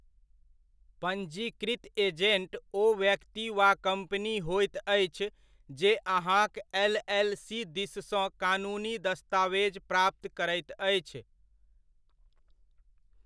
पञ्जीकृत एजेण्ट ओ व्यक्ति वा कम्पनी होइत अछि जे अहाँक एल.एल.सी. दिससँ कानूनी दस्तावेज प्राप्त करैत अछि।